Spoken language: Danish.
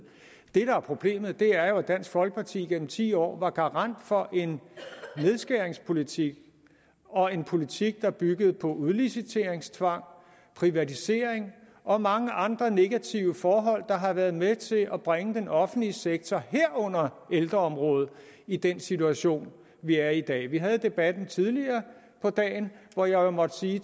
det der er problemet er jo at dansk folkeparti gennem ti år var garant for en nedskæringspolitik og en politik der byggede på udliciteringstvang privatisering og mange andre negative forhold der har været med til at bringe den offentlige sektor herunder ældreområdet i den situation vi er i i dag vi havde debatten tidligere på dagen hvor jeg jo måtte